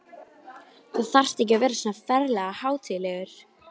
Lét augun líða um hálfrokkið herbergið.